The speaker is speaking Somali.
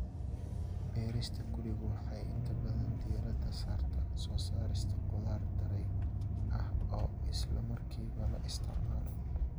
Beerista gurigu waxay inta badan diiradda saartaa soo saarista khudaar daray ah oo isla markiiba la isticmaalo.